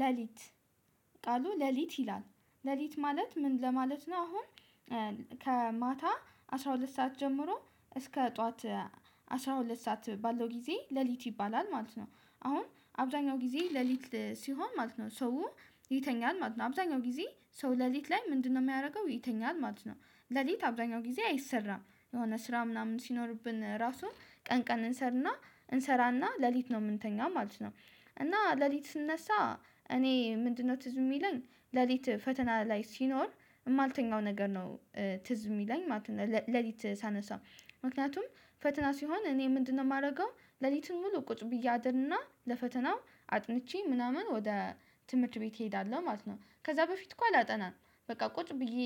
ለሊት ቃሉ ለሊት ይላል ለሊት ማለት ምን ለማለት ነው? አሁን ከማታ አስራ ሁለት ሰዓት ጀምሮ እስከ ጠዋት አስራ ሁለት ሰዓት ባለው ጊዜ ለሊት ይባላል ማለት ነው። አሁን አብዛኛው ጊዜ ለሊት ሲሆን ማለት ነው ሰው ይተኛል ማለት ነው። አብዛኛው ጊዜ ሰው ለሊት ላይ ምንድነው የሚያደርገው ይተኛል ማለት ነው? ለሊት አብዛኛው ጊዜ አይሰራም የሆነ ስራ ምናምን ሲኖርብን ራሱ ቀን ቀን እንሰራና ሌሊት ነው የምንተኛው ማለት ነው። እና ሌሊት ስንነሳ እኔ ምንድነው ትዝ የሚለኝ ሌሊት ፈተና ላይ ሲኖር የማልተኛው ነገር ነው። ትዝ የሚለኝ ማለት ነው። ሌሊት ሳነሳ ምክንያቱም ፈተና ሲሆን እኔ ምንድነው የማደርገው ሌሊቱን ሙሉ ቁጭ ብዬ አድርና ለፈተናው አጥንቼ ምናምን ወደ ትምህርት ቤት እሄዳለሁ ማለት ነው። ከዛ በፊት እኮ አላጠናም። በቃ ቁጭ ብዬ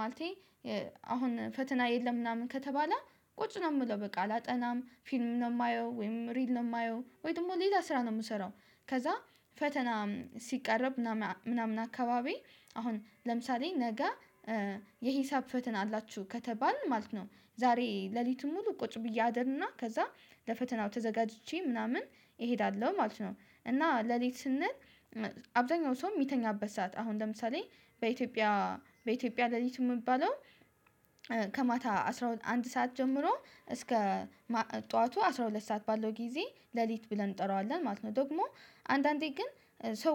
ማለቴ አሁን ፈተና የለም ምናምን ከተባለ ቁጭ ነው የምለው በቃ አላጠናም ፊልም ነው የማየው ወይም ሪል ነው የማየው ወይ ደግሞ ሌላ ስራ ነው የምሰራው። ከዛ ፈተና ሲቃረብ ምናምን አካባቢ አሁን ለምሳሌ ነገ የሂሳብ ፈተና አላችሁ ከተባልን ማለት ነው ዛሬ ሌሊቱን ሙሉ ቁጭ ብዬ አድርና ከዛ ለፈተናው ተዘጋጅቼ ምናምን እሄዳለሁ ማለት ነው። እና ሌሊት ስንል አብዛኛው ሰው የሚተኛበት ሰዓት አሁን ለምሳሌ በኢትዮጵያ በኢትዮጵያ ሌሊቱ የሚባለው ከማታ አንድ ሰዓት ጀምሮ እስከ ጠዋቱ አስራ ሁለት ሰዓት ባለው ጊዜ ለሊት ብለን እንጠራዋለን ማለት ነው። ደግሞ አንዳንዴ ግን ሰው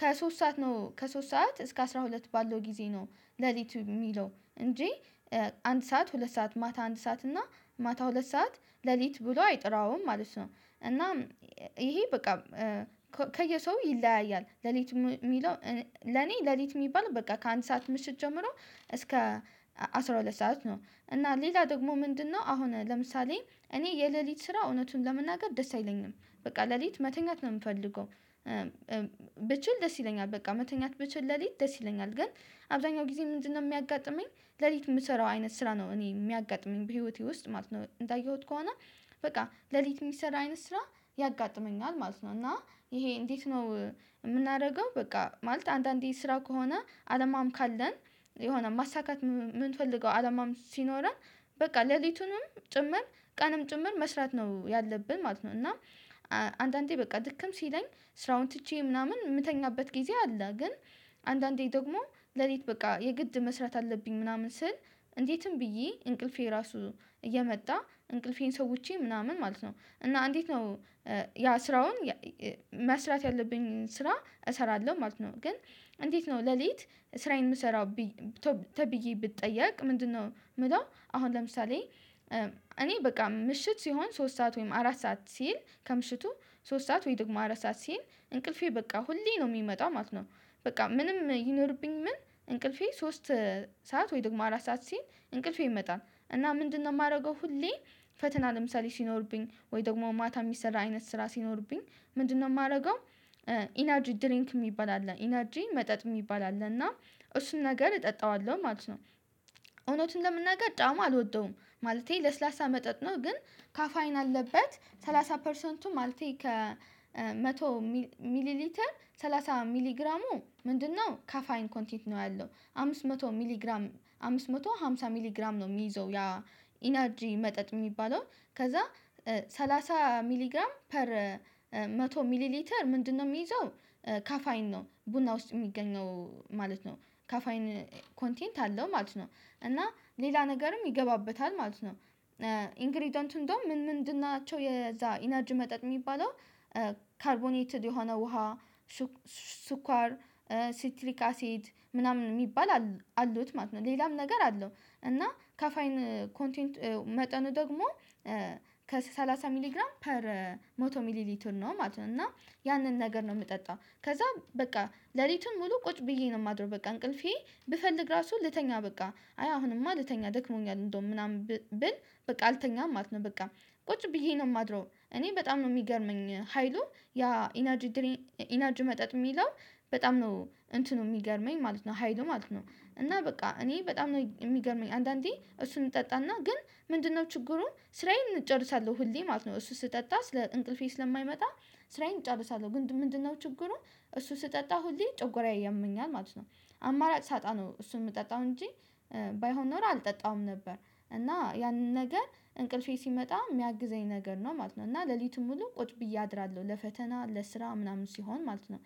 ከሶስት ሰዓት ነው ከሶስት ሰዓት እስከ አስራ ሁለት ባለው ጊዜ ነው ለሊት የሚለው እንጂ አንድ ሰዓት ሁለት ሰዓት ማታ አንድ ሰዓት እና ማታ ሁለት ሰዓት ለሊት ብሎ አይጠራውም ማለት ነው። እና ይሄ በቃ ከየሰው ይለያያል ሌሊት የሚለው ለኔ ሌሊት የሚባል በቃ ከአንድ ሰዓት ምሽት ጀምሮ እስከ አስራ ሁለት ሰዓት ነው። እና ሌላ ደግሞ ምንድነው አሁን ለምሳሌ እኔ የሌሊት ስራ እውነቱን ለመናገር ደስ አይለኝም። በቃ ለሊት መተኛት ነው የምፈልገው። ብችል ደስ ይለኛል በቃ መተኛት ብችል ለሊት ደስ ይለኛል ግን አብዛኛው ጊዜ ምንድነው የሚያጋጥመኝ? ለሊት የምሰራው አይነት ስራ ነው እኔ የሚያጋጥመኝ በህይወቴ ውስጥ ማለት ነው። እንዳየሁት ከሆነ በቃ ለሊት የሚሰራ አይነት ስራ ያጋጥመኛል ማለት ነው። እና ይሄ እንዴት ነው የምናደርገው? በቃ ማለት አንዳንዴ ስራ ከሆነ አላማም ካለን የሆነ ማሳካት የምንፈልገው አላማም ሲኖረን በቃ ለሊቱንም ጭምር ቀንም ጭምር መስራት ነው ያለብን ማለት ነው። እና አንዳንዴ በቃ ድክም ሲለኝ ስራውን ትቼ ምናምን የምተኛበት ጊዜ አለ። ግን አንዳንዴ ደግሞ ለሊት በቃ የግድ መስራት አለብኝ ምናምን ስል እንዴትም ብዬ እንቅልፌ ራሱ እየመጣ እንቅልፌን ሰውቼ ምናምን ማለት ነው። እና አንዴት ነው? ያ ስራውን መስራት ያለብኝን ስራ እሰራለሁ ማለት ነው። ግን እንዴት ነው ለሊት ስራ የምሰራው? ተብዬ ብጠየቅ ምንድነው የምለው? አሁን ለምሳሌ እኔ በቃ ምሽት ሲሆን ሶስት ሰዓት ወይም አራት ሰዓት ሲል ከምሽቱ ሶስት ሰዓት ወይ ደግሞ አራት ሰዓት ሲል እንቅልፌ በቃ ሁሌ ነው የሚመጣው ማለት ነው። በቃ ምንም ይኖርብኝ ምን እንቅልፌ ሶስት ሰዓት ወይ ደግሞ አራት ሰዓት ሲል እንቅልፌ ይመጣል እና ምንድነው የማደርገው? ሁሌ ፈተና ለምሳሌ ሲኖርብኝ ወይ ደግሞ ማታ የሚሰራ አይነት ስራ ሲኖርብኝ ምንድነው የማደርገው? ኢነርጂ ድሪንክ የሚባል አለ ኢነርጂ መጠጥ የሚባል አለ እና እሱን ነገር እጠጣዋለሁ ማለት ነው። እውነቱን ለመናገር ጣእሙን አልወደውም ማለቴ ለስላሳ መጠጥ ነው ግን ካፋይን አለበት ሰላሳ ፐርሰንቱ ማለቴ ከመቶ ሚሊሊተር ሰላሳ ሚሊግራሙ ምንድነው ካፋይን ኮንቴንት ነው ያለው አምስት መቶ ሚሊግራም አምስት መቶ አምሳ ሚሊግራም ነው የሚይዘው። ያ ኢነርጂ መጠጥ የሚባለው ከዛ ሰላሳ ሚሊግራም ፐር መቶ ሚሊሊተር ምንድነው የሚይዘው ካፋይን ነው ቡና ውስጥ የሚገኘው ማለት ነው። ካፋይን ኮንቴንት አለው ማለት ነው። እና ሌላ ነገርም ይገባበታል ማለት ነው። ኢንግሪደንት እንደውም ምን ምንድን ናቸው የዛ ኢነጅ መጠጥ የሚባለው ካርቦኔትድ የሆነ ውሃ ሱካር ሲትሪክ አሲድ ምናምን የሚባል አሉት ማለት ነው። ሌላም ነገር አለው እና ከፋይን ኮንቴንት መጠኑ ደግሞ ከሠላሳ ሚሊግራም ፐር መቶ ሚሊሊትር ነው ማለት ነው። እና ያንን ነገር ነው የምጠጣው ከዛ በቃ ሌሊቱን ሙሉ ቁጭ ብዬ ነው የማድረው በቃ እንቅልፌ ብፈልግ ራሱ ልተኛ በቃ አይ አሁንማ ልተኛ ደክሞኛል እንደውም ምናምን ብል በቃ አልተኛም ማለት ነው። በቃ ቁጭ ብዬ ነው የማድረው። እኔ በጣም ነው የሚገርመኝ ሀይሉ ያ ኢነርጂ መጠጥ የሚለው በጣም ነው እንትኑ የሚገርመኝ ማለት ነው። ሀይሉ ማለት ነው። እና በቃ እኔ በጣም ነው የሚገርመኝ አንዳንዴ እሱን እጠጣና ግን ምንድነው ችግሩ ስራዬን እጨርሳለሁ። ሁሌ ማለት ነው። እሱ ስጠጣ ስለ እንቅልፌ ስለማይመጣ ስራዬን እጨርሳለሁ። ግን ምንድነው ችግሩ? እሱ ስጠጣ ሁሌ ጨጓራዬ ያመኛል ማለት ነው። አማራጭ ሳጣ ነው እሱ የምጠጣው እንጂ ባይሆን ኖሮ አልጠጣውም ነበር። እና ያንን ነገር እንቅልፌ ሲመጣ የሚያግዘኝ ነገር ነው ማለት ነው። እና ሌሊቱን ሙሉ ቁጭ ብዬ አድራለሁ ለፈተና ለስራ ምናምን ሲሆን ማለት ነው።